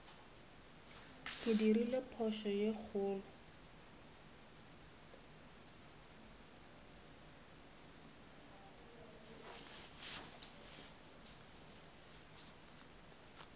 ke dirile phošo ye kgolo